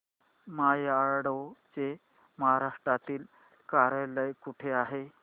माय advo चे महाराष्ट्रातील कार्यालय कुठे आहे